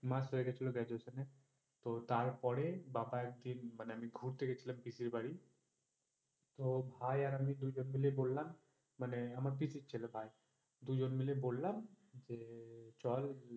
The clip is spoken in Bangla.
দুই মাস হয়ে গেছিলো Graduation এর তো তার পর বাবা একদিন মানে আমি ঘুরতে গেছিলাম পিসির বাড়ি, তো ভাই আর আমি দুই জন মিলে বললাম মানে আমার পিসির ছেলে ভাই দুই জন বললাম যে চল,